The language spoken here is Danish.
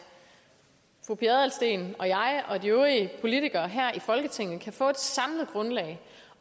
fru pia adelsteen og jeg og de øvrige politikere her i folketinget kan få et samlet grundlag